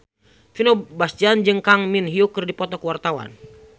Vino Bastian jeung Kang Min Hyuk keur dipoto ku wartawan